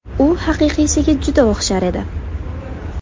U haqiqiysiga juda o‘xshar edi.